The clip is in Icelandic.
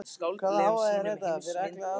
Hvaða hávaði er þetta fyrir allar aldir?